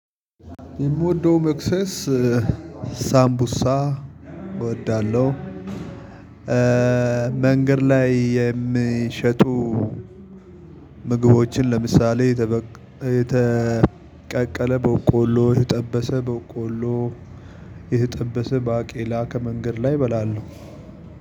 የምወደው መክሰስ ሳምቡሳ እወዳለሁ። መንገድ ላይ የሚሸጡ ምግቦችን ለምሳሌ የተበቀ የተቀቀለ በቆሎ የተጠበሰ በቆሎ የተጠበሰ ባቄላ ከመንገድ ላይ እበላለው